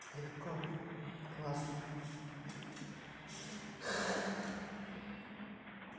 легко классно